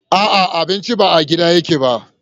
A'a, abincin ba a gidan yake ba.